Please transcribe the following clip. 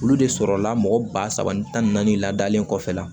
Olu de sɔrɔla mɔgɔ ba saba ni tan ni naani ladalen kɔfɛla